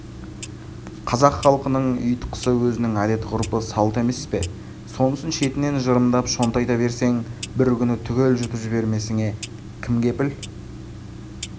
қазақ халқының ұйтқысы өзінің әдет-ғұрпы салты емес пе сонысын шетінен жырымдап шонтайта берсең бір күні түгел жұтып жібермесіңе кім кепіл